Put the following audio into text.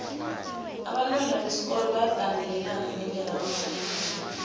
abantwana besikolo bayagandelelana ngendlela abambatha ngayo